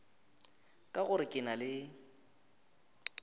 ka gore ke na le